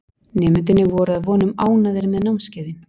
Nemendurnir voru að vonum ánægðir með námskeiðin.